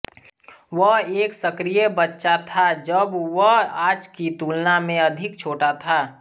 वह एक सक्रिय बच्चा था जब वह आज की तुलना में अधिक छोटा था